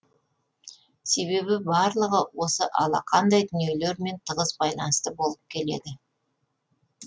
себебі барлығы осы алақандай дүниелермен тығыз байланысты болып келеді